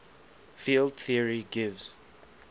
field theory gives